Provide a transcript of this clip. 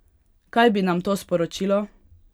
Kaj bi nam to sporočilo?